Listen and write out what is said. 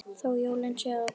Þó jólin séu að koma.